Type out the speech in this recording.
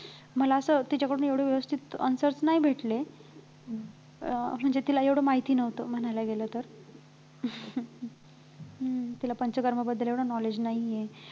मला असं तिच्याकडून एवढं व्यवस्थित answers नाही भेटले अं म्हणजे तिला एवढं माहिती नव्हतं म्हणायला गेलं तर हम्म तिला पंचकर्माबद्दल एवढं knowledge नाही आहे